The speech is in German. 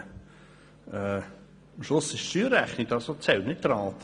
Am Schluss zählt die Steuerrechnung, nicht die Rate.